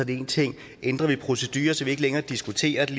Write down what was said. en ting ændrer vi procedure så vi ikke længere diskuterer det